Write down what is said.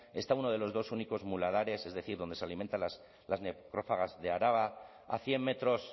está uno de los dos únicos muladares es decir donde se alimentan las necrófagas de araba a cien metros